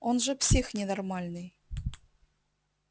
он же псих ненормальный